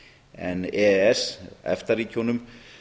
en e e s efta ríkjunum